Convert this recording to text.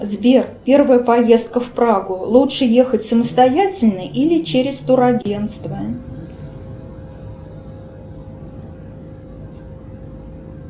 сбер первая поездка в прагу лучше ехать самостоятельно или через турагентство